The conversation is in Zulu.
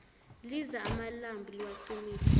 liza amalambu liwacimile